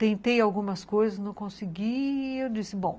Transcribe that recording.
Tentei algumas coisas, não consegui e eu disse, bom...